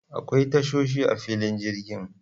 Akwai tashoshi a filin jirgin.